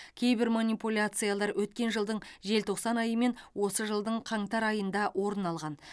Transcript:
кейбір манипуляциялар өткен жылдың желтоқсан айы мен осы жылдың қаңтар айында орын алған